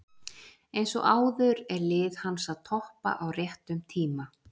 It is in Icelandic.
Eins og áður er lið hans að toppa á réttum tíma.